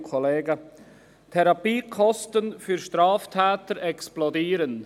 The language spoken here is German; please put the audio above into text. Die Therapiekosten für Straftäter explodieren.